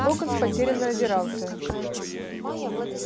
локонс потерянно озирался